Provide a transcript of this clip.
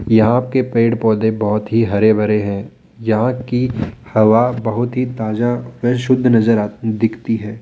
यहाँ के पेड़ पौधे बहोत ही हरे भरे हैं यहां की हवा बहुत ही ताजा व शुद्ध नजर आ दिखती है।